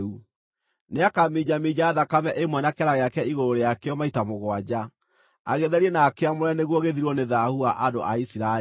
Nĩakaminjaminja thakame ĩmwe na kĩara gĩake igũrũ rĩakĩo maita mũgwanja, agĩtherie na akĩamũre nĩguo gĩthirwo nĩ thaahu wa andũ a Isiraeli.